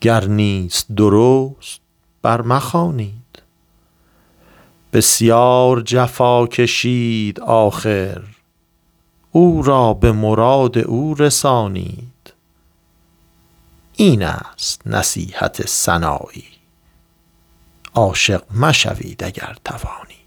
گر نیست درست بر مخوانید بسیار جفا کشید آخر او را به مراد او رسانید این است نصیحت سنایی عاشق مشوید اگر توانید